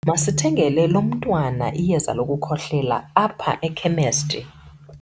Masithengele lo mntwan iyeza lokukhohlela apha ekhemesti.